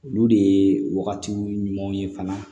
Olu de ye wagati ɲumanw ye fana